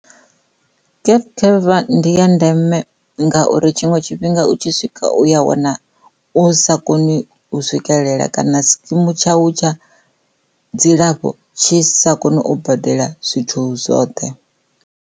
Gap cover ndi ya ndeme ngauri tshiṅwe tshifhinga u tshi swika uya wana u sa koni u swikelela kana sikimu tshau tsha dzilafho tshi sa kone u badela zwithu zwoṱhe.